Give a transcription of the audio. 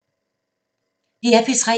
DR P3